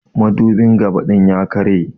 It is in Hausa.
Madubin gabã din ya karya.